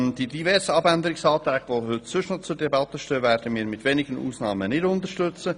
Die diversen Abänderungsanträge, die sonst heute noch zur Debatte stehen, werden wir mit wenigen Ausnahmen nicht unterstützen.